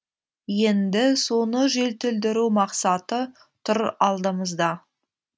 енді соны жетілдіру мақсаты тұр алдымызда